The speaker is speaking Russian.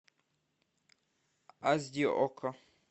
аш ди окко